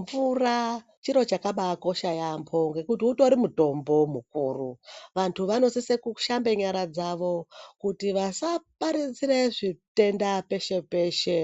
Mvura chiro chakabakosha yambo ngekuti utori mutombo mukuru vantu vanosisa kushamba nyara dzawo kuti vasaparadzira zvitenda peshe peshe